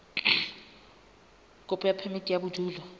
kopo ya phemiti ya bodulo